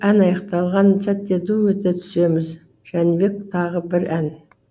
ән аяқталған сәтте ду өте түсеміз жәнібек тағы бір ән